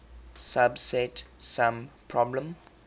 subset sum problem